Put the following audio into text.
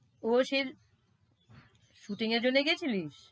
ও shoting এর জন্য গিয়েছিলিস?